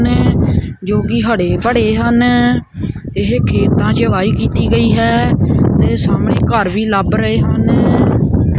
ਨੇ ਜੋ ਕਿ ਹੜੇ ਪੜੇ ਹਨ ਇਹ ਖੇਤਾਂ 'ਚ ਵਾਈ ਕੀਤੀ ਗਈ ਹੈ ਤੇ ਸਾਹਮਣੇ ਘਰ ਵੀ ਲੱਭ ਰਹੇ ਹਨ।